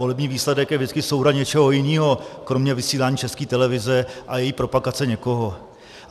Volební výsledek je vždycky souhra něčeho jiného kromě vysílání České televize a její propagace někoho.